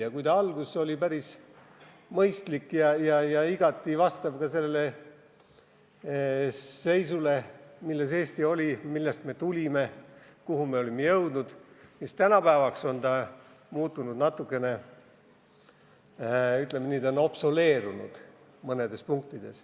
Ja kui alguses oli see päris mõistlik ja igati vastav sellele seisule, milles Eesti oli, millest me tulime, kuhu olime jõudnud, siis tänapäevaks on see seadus natukene, ütleme nii, mõnes punktis vananenud.